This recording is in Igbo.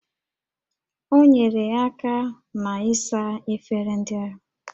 O nyeere aka na-ịsa efere ndị ahụ